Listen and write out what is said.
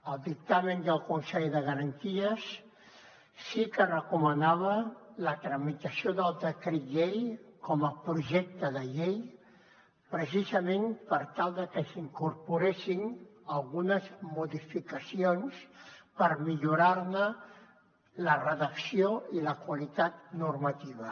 el dictamen del consell de garanties sí que recomanava la tramitació del decret llei com a projecte de llei precisament per tal de que s’incorporessin algunes modificacions per millorar ne la redacció i la qualitat normativa